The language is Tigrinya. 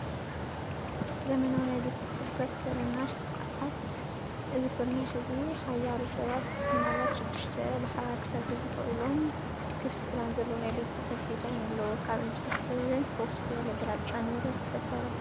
ዘመናዊ ናይ ቤት ጽሕፈት ፍርናሽ ስርዓት። እዚ ፍርናሽ እዚ ሓያሎ ሰባት (ምናልባት ሽዱሽተ) ብሓባር ክሰርሑ ዘኽእሎም ክፉት ፕላን ዘለዎ ናይ ቤት ጽሕፈት ዲዛይን ኣለዎ። ካብ ዕንጨይቲ ሕብሪን ፍኹስ ዝበለ ግራጭን ንብረት ዝተሰርሐ እዩ።